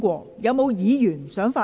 是否有議員想發言？